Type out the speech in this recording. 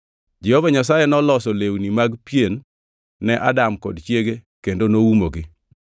Jehova Nyasaye noloso lewni mag pien ne Adam kod chiege kendo noumogi.